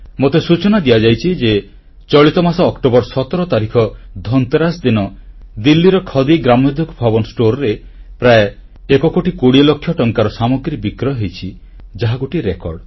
ମୋତେ ସୂଚନା ଦିଆଯାଇଛି ଯେ ଚଳିତ ମାସ ଅକ୍ଟୋବର 17 ତାରିଖ ଧନ୍ତେରାସ୍ ଦିନ ଦିଲ୍ଲୀର ଖଦି ଗ୍ରାମୋଦ୍ୟୋଗ ଭବନ ଷ୍ଟୋରରେ ପ୍ରାୟ ଏକ କୋଟି କୋଡ଼ିଏ ଲକ୍ଷ ଟଙ୍କାର ସାମଗ୍ରୀ ବିକ୍ରୟ ହୋଇଛି ଯାହା ଗୋଟିଏ ରେକର୍ଡ